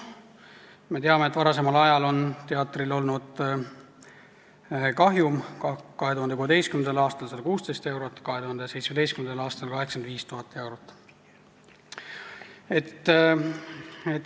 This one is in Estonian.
Me teame, et varasemal ajal on teatril olnud kahjum: 2016. aastal 116 000 eurot, 2017. aastal 85 000 eurot.